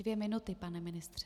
Dvě minuty, pane ministře.